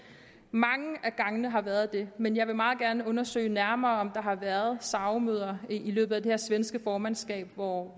mange af gangene har været det men jeg vil meget gerne undersøge nærmere om der har været sao møder i løbet af det her svenske formandskab hvor